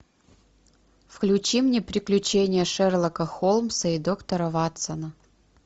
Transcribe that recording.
включи мне приключения шерлока холмса и доктора ватсона